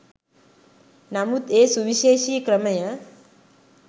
නමුත් ඒ සුවිශේෂී ක්‍රමය